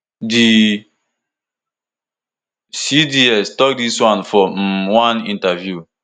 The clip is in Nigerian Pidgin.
di cds tok dis one for um one interview